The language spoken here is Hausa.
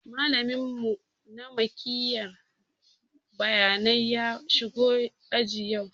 Malamin mu na mikiyar bayanai ya shigo aji yau